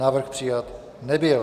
Návrh přijat nebyl.